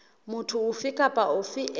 motho ofe kapa ofe e